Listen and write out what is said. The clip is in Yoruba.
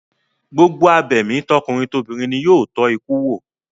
Gbogbo abẹ̀mí tọkùnrin tobìnrin ni yóò tọ́ ikú wò